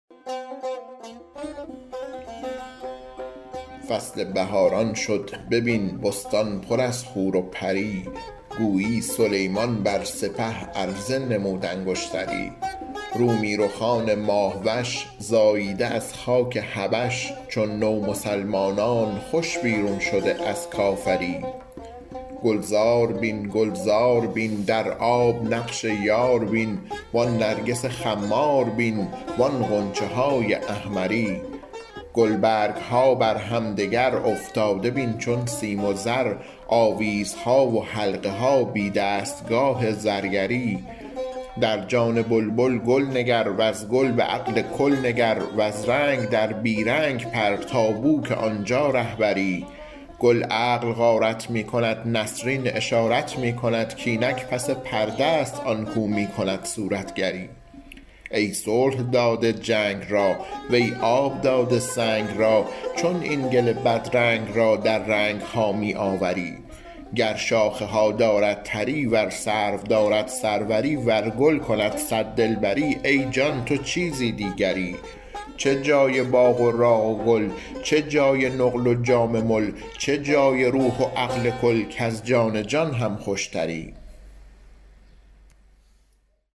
فصل بهاران شد ببین بستان پر از حور و پری گویی سلیمان بر سپه عرضه نمود انگشتری رومی رخان ماه وش زاییده از خاک حبش چون نومسلمانان خوش بیرون شده از کافری گلزار بین گلزار بین در آب نقش یار بین و آن نرگس خمار بین و آن غنچه های احمری گلبرگ ها بر همدگر افتاده بین چون سیم و زر آویزها و حلقه ها بی دستگاه زرگری در جان بلبل گل نگر وز گل به عقل کل نگر وز رنگ در بی رنگ پر تا بوک آن جا ره بری گل عقل غارت می کند نسرین اشارت می کند کاینک پس پرده است آن کاو می کند صورتگری ای صلح داده جنگ را وی آب داده سنگ را چون این گل بدرنگ را در رنگ ها می آوری گر شاخه ها دارد تری ور سرو دارد سروری ور گل کند صد دلبری ای جان تو چیزی دیگری چه جای باغ و راغ و گل چه جای نقل و جام مل چه جای روح و عقل کل کز جان جان هم خوشتری